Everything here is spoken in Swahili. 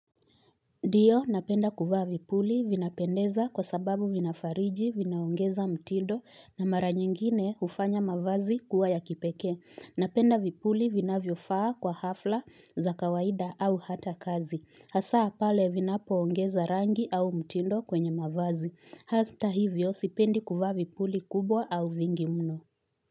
Ndio napenda kuvaa vipuli. Vinapendeza kwa sababu vinafariji vinaongeza mtindo na mara nyingine hufanya mavazi kuwa ya kipeke. Napenda vipuli vinavyo faa kwa hafla za kawaida au hata kazi. Hasaa pale vinapo ongeza rangi au mtindo kwenye mavazi. Hata hivyo, sipendi kufaa vipuli kubwa au vingi mno.